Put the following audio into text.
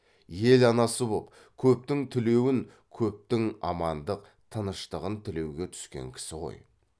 ел анасы боп көптің тілеуін көптің амандық тыныштығын тілеуге түскен кісі ғой